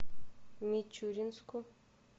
мичуринску